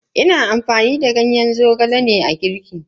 Ina amfani da gawayi ne wajen girki.